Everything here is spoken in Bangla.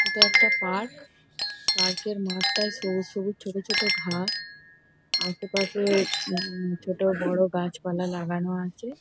এটা একটা পার্ক পার্ক -এর মাঠটায় সবুজ সবুজ ছোট ছোট ঘাস আশেপাশে উম ছোট বড় গাছপালা লাগানো আছে।